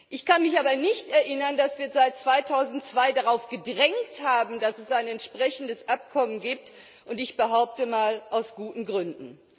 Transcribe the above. Ich kann mich aber nicht erinnern, dass wir seit 2002 darauf gedrängt hätten, dass es ein entsprechendes Abkommen gibt, und ich behaupte mal aus guten Gründen.